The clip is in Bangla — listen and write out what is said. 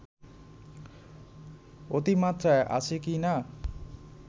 অতিমাত্রায় আছে কি না